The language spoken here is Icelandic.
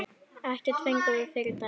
Ekkert fengum við fyrri daginn.